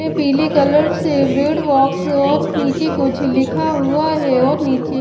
पीले कलर से bread box और नीचे कुछ लिखा हुआ है और नीचे--